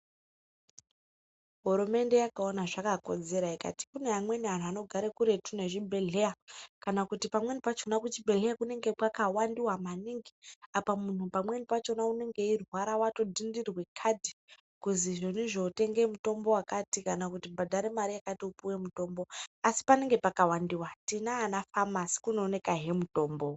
Hurumende yakaona zvakakodzera ikati kune amweni anthu anogare kuretu nezvibhedhleya kana kuti pamweni pachona kuchibhedhleya kunenge kwakawandiwa maningi apa munhu pamweni pachona unonge eirwara wato dhindirwa kati kuzizvonizvo tenge mutombo wakati kana kuti bhadhare mare yakati upuwe mutombo asi panenge pakawandiwa tinaana famasi kunoonekahe mutombo.